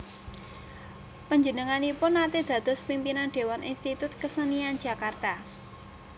Penjenenganipun nate dados pimpinan dewan Institut Kasenian Jakarta